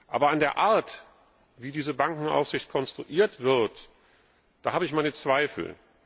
Aber an der Art, wie diese Bankenaufsicht konstruiert wird, da habe ich meine Zweifel.